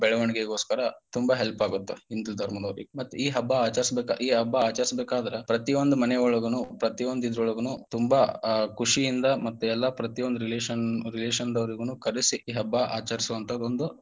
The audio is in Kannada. ಬೆಳವಣಿಗೆಗೋಸ್ಕರ ತುಂಬಾ help ಆಗತ್ತ ಹಿಂದೂ ಧರ್ಮದವರಿಗ ಮತ್ತ ಈ ಹಬ್ಬ ಆಚರಿಸುದಕ್ಕ ಈ ಹಬ್ಬ ಆಚರಿಸಬೇಕಾದ್ರ ಪ್ರತಿಯೊಂದ ಮನೆಯೊಳಗೂನು ಪ್ರತಿಯೊಂದ ಇದ್ರೊಳಗುನು ತುಂಬಾ ಆ ಖುಷಿಯಿಂದ ಮತ್ತ ಎಲ್ಲಾ ಪ್ರತಿಯೊಂದ relation relation ದವರಿಗು ಕರಿಸಿ ಈ ಹಬ್ಬ ಆಚರಿಸುವಂತಾದ ಒಂದು.